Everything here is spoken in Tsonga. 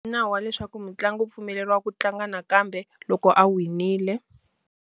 I nawu wa leswaku mutlangi u pfumeleriwa ku tlanga nakambe loko a winile.